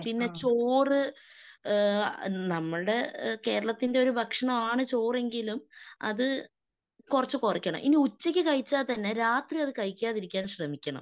പിന്നെ ചോറ് ഏഹ് നമ്മടെ കേരളത്തിന്റെ ഒരു ഭക്ഷണമാണ് ചോറ് എങ്കിലും അത് കുറച്ച് കുറക്കണം. ഇനി ഉച്ചക്ക് കഴിച്ചാൽത്തന്നെ രാത്രി അത് കഴിക്കാതിരിക്കാൻ ശ്രമിക്കണം.